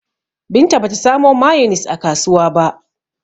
Binta ba ta samo mayonis a kasuwa ba.